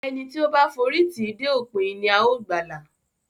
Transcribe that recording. Ẹni tí ó bá f'ori tì dé òpin, ní ào gbàla.